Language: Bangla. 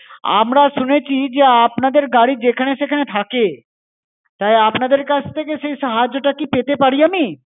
আমরা শুনেছি যে, আপনাদের গাড়ি যেখানে সেখানে থাকে। তাই আপনাদের কাছ থেকে সেই সাহায্যটা কি পেতে পারি আমি?